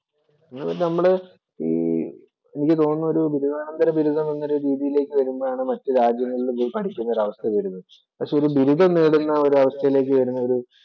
നമ്മള് എനിക്ക് തോന്നുന്നു ഈ ബിരുദാനന്തര ബിരുദം എന്ന രീതിയിലേക്ക് വരുമ്പോഴാണ് മറ്റ് രാജ്യങ്ങളിൽ പോയി പഠിക്കുന്ന ഒര അവസ്ഥ വരുന്നത്. പക്ഷെ ഒരു ബിരുദം നേടുന്ന ഒരവസ്ഥയിലേക്ക് വരുന്ന ഒരു